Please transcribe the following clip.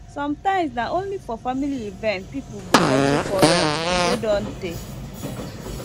sometimes na only for family event people go settle quarrel wey don tey